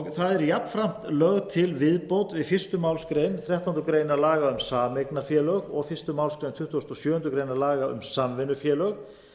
það er jafnframt lögð til viðbót við fyrstu málsgreinar þrettándu grein laga um sameignarfélög og fyrstu málsgrein tuttugustu og sjöundu grein laga um samvinnufélög